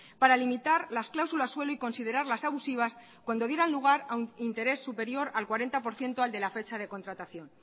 para limitar las cláusulas suelo y considerarlas abusivas cuando diera lugar a un interés superior al cuarenta por ciento al de la fecha de contratación